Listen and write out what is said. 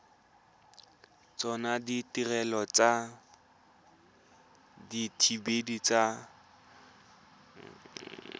tsona ditirelo tsa dithibedi tse